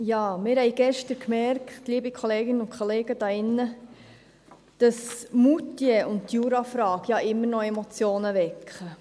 Ja, wir haben gestern gemerkt, liebe Kolleginnen und Kollegen hier in diesem Saal, dass Moutier und die Jurafrage immer noch Emotionen wecken.